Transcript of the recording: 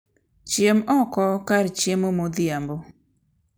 Chiem oko kar chiemo modhiambo.